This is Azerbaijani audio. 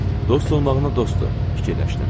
Dost olmağına dostdur, fikirləşdim.